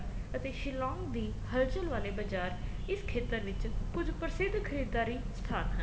ਅਤੇ ਸ਼ਿਲੋਂਗ ਦੀ ਹਲਚਲ ਵਾਲੇ ਬਜ਼ਾਰ ਇਸ ਖੇਤਰ ਵਿੱਚ ਕੁੱਝ ਪ੍ਰਸਿਧ ਖਰੀਦਾਰੀ ਸਥਾਨ